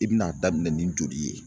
I bi n'a daminɛ ni joli ye